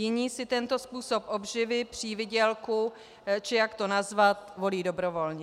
Jiní si tento způsob obživy, přivýdělku, či jak to nazvat, volí dobrovolně.